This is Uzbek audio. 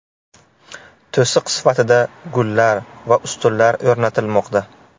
To‘siq sifatida gullar va ustunlar o‘rnatilmoqda.